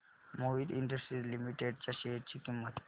Mohit Industries Limited च्या share ची किंमत